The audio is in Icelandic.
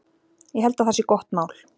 Ég held að það sé gott mál.